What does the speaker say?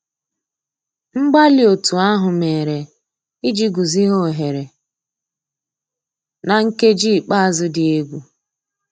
Mgbàlí ótú àhụ́ mérè ìjì gùzíghà óghéré ná nkèjí ikpéázụ́ dị́ égwu.